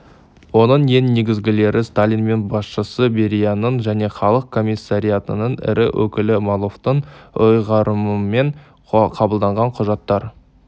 оның ең негізгілері сталин мен басшысы берияның және халық комиссариатының ірі өкілі молотовтың ұйғарымымен қабылданған құжаттар